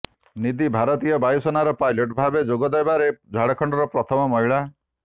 ନିଧି ଭାରତୀୟ ବାୟୁସେନାରେ ପାଇଲଟ ଭାବେ ଯୋଗଦେବାରେ ଝାଡ଼ଖଣ୍ଡର ପ୍ରଥମ ମହିଳା